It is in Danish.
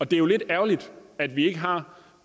det er jo lidt ærgerligt at vi ikke har